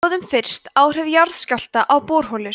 skoðum fyrst áhrif jarðskjálfta á borholur